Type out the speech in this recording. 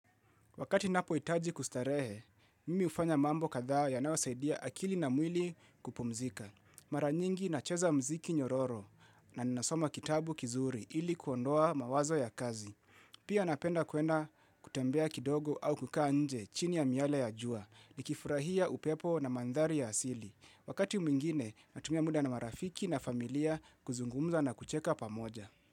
Wakati ninapohitaji kustarehe, mimi hufanya mambo kadhaa yanaosaidia akili na mwili kupumzika. Mara nyingi nacheza muziki nyororo na ninasoma kitabu kizuri ili kuondoa mawazo ya kazi. Pia napenda kwenda kutembea kidogo au kukaa nje chini ya miale ya jua, nikifurahia upepo na mandhari ya asili. Wakati mwingine, natumia muda na marafiki na familia kuzungumza na kucheka pamoja.